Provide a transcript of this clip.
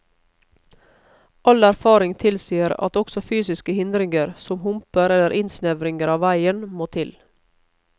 All erfaring tilsier at også fysiske hindringer, som humper eller innsnevringer av veien, må til.